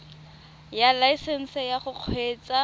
ya laesesnse ya go kgweetsa